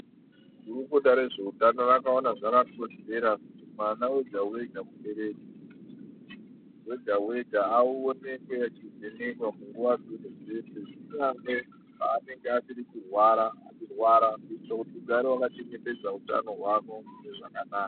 Gurukuta rezvehutano rakaona rakakodzera kuti mwana wega wega aonekwe achivhenekwa nguwa dzese dzese zvino ange panenge asiri kurwara hicho ugare wakachengetedza hutano hwako zvakanaka.